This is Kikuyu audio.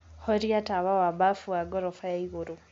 horĩa tawa wa bafu wa gorofa ya ĩgũrũ